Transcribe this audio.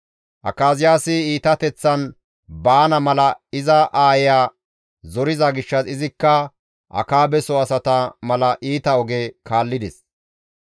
Akaziyaasi iitateththan baana mala iza aayeya zoriza gishshas izikka Akaabeso asata mala iita oge kaallides.